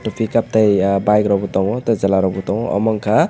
tei pickup tei ah bike rok bo tango tei chela rok bo tango amo wngka.